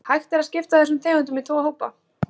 Hægt er að skipta þessum tegundum í tvo hópa.